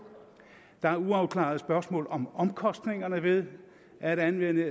der er uafklarede spørgsmål om omkostningerne ved at anvende